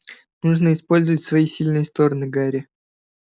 нужно использовать свои сильные стороны гарри